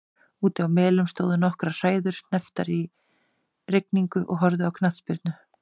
Úti á Melum stóðu nokkrar hræður hnepptar í rigningu og horfðu á knattspyrnu.